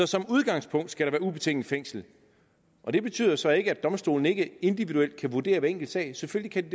som udgangspunkt skal der være ubetinget fængsel og det betyder så ikke at domstolene ikke individuelt kan vurdere hver enkelt sag selvfølgelig